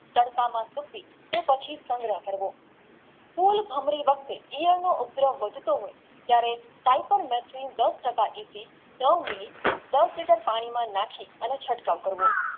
તડકાના ફૂટી કે પછી સંગ્રહ કરવો ફૂલ ભમરી વચ્ચે જીવનનો ઉગ્રહ વધતો ત્યરે દસ liter પાણીમાં નાખી ચટકાવ કરવો